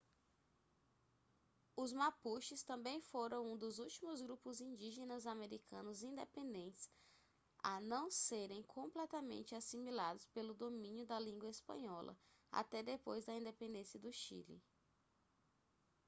os mapuches também foram um dos últimos grupos indígenas americanos independentes a não serem completamente assimilados pelo domínio da língua espanhola até depois da independência do chile